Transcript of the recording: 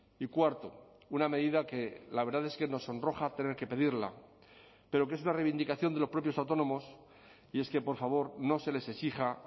y cuarto una medida que la verdad es que nos sonroja tener que pedirla pero que es una reivindicación de los propios autónomos y es que por favor no se les exija